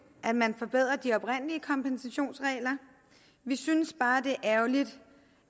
at man forbedrer de oprindelige kompensationsregler vi synes bare det er ærgerligt